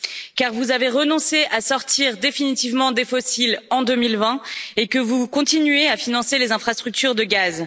En effet, vous avez renoncé à sortir définitivement des fossiles en 2020 et vous continuez à financer les infrastructures de gaz.